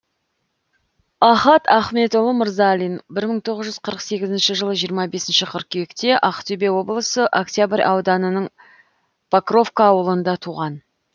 ахат ахметұлы мырзалин бір мың тоғыз жүз қырық сегізінші жылы жиырма бесінші қыркүйекте ақтөбе облысы октябрь ауданының покровка ауылында туған